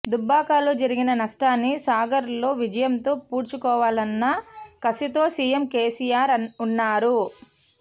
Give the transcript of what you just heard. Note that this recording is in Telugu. దుబ్బాకలో జరిగిన నష్టాన్ని సాగర్లో విజయంతో పూడ్చుకోవాలన్న కసితో సిఎం కెసిఆర్ ఉన్నారు